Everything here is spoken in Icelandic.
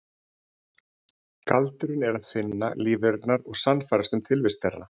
Galdurinn er bara að finna lífverurnar og sannfærast um tilvist þeirra.